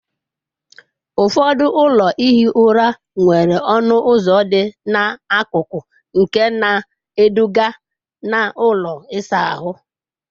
Ụfọdụ ụlọ ihi ụra nwere ọnụ ụzọ dị n'akụkụ nke na-eduga na ụlọ ịsa ahụ.